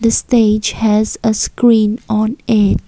the stage has a screen on it.